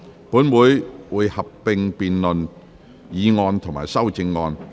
本會會合併辯論議案及修正案。